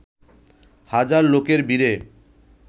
হাজার লোকের ভিড়ে